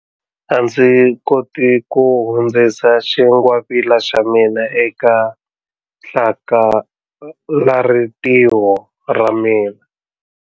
A ndzi koti ku hundzisa xingwavila xa mina eka hlakalarintiho ra mina.